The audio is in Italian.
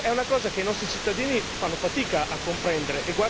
È qualcosa che i nostri cittadini fanno fatica a comprendere.